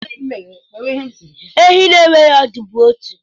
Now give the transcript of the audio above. Ọdụ ehi bụ otu n'ime anụ kacha mma m.